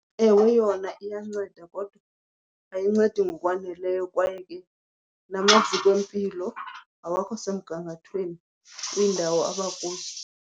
Ewe yona iyanceda kodwa ayincedi ngokwaneleyo kwaye ke namaziko empilo awakho semgangathweni kwiindawo abakuzo.